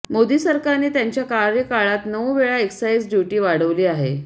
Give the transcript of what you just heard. मोदी सरकारने त्यांच्या कार्यकाळात नऊ वेळा एक्साईज ड्युटी वाढवली आहे